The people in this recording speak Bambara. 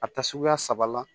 A ta suguya saba la